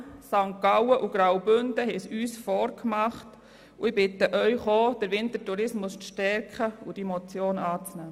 Die Kantone St. Gallen und Graubünden haben uns das vorgemacht, und ich bitte Sie, den Wintertourismus auch in unserem Kanton zu stärken und die Motion anzunehmen.